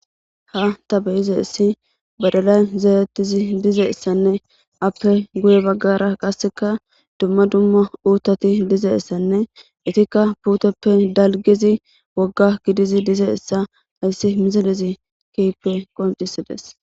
Ha ta beyizeissi badalay zaarettizi dizayssanne appe guye baggara qasseka dumma dumma uuththati dizeessanne itikka puuteppe dalgizi wogga gidizi dizessa ayssi misalezi keyppe qoncisides.